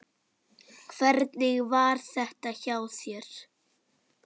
Hvernig var þetta hjá þér?